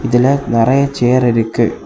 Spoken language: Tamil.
இதுல நறைய சேர் இருக்கு.